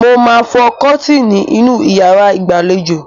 Mo máa fọ kọ́tíínì inú yàrá ìgbàlejò.